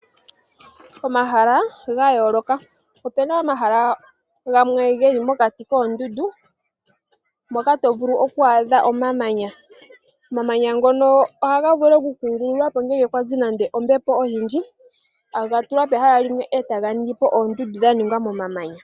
Omahala ga yooloka Opena omahala gamwe ge li mokati koondungu moka to vulu oku adha omamanya, omamanya ngono ohaga vulu oku kungululwa po ngele kwazi nande ombepo oyindji ta ga tulwa pehala limwe, etaga ningi po oondundu dha ningwa momamanya.